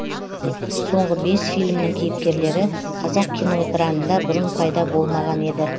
соңғы бес фильмнің кейіпкерлері қазақ киноэкранында бұрын пайда болмаған еді